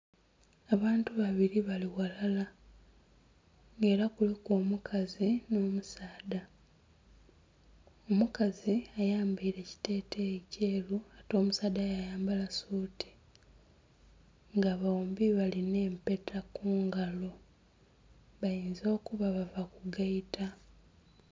Abantu babiri bali ghalala nga era kuliku omukazi n'omusaadha, omukazi ayambaire ekiteteeyi kyeru ate omusaadha yayambala suuti nga bombi bali n'empeta ku ngalo. Bayinza okuba bava kugaita.